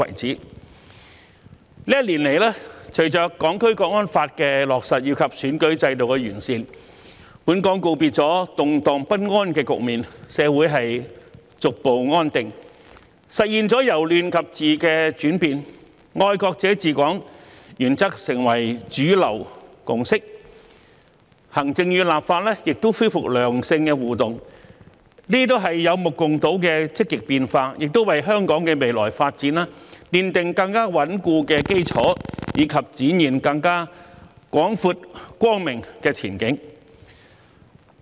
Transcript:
這一年來，隨着《香港國安法》的落實及選舉制度的完善，本港告別了動盪不安的局面，社會逐步回復安定，實現了由亂及治的轉變，"愛國者治港"原則成為主流共識，行政與立法亦恢復良性互動，這些都是有目共睹的積極變化，也為香港的未來發展奠定更穩固的基礎，以及展現更廣闊光明的前景。